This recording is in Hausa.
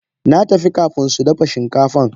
Natafi kafin sudafa shinkafan.